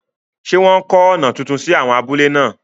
Ṣé wọ́n kọ́ ọ̀nà tuntun sí áwọn abúlé náà?